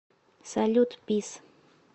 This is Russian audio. салют пис